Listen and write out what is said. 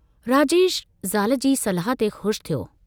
राजेश ज़ाल जी सलाह ते ख़ुश थियो।